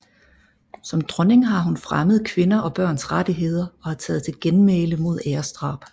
Som dronning har hun fremmet kvinders og børns rettigheder og har taget til genmæle mod æresdrab